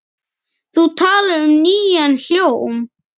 Þú talar um nýjan hljóm?